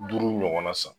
Duuru ɲɔgɔnna san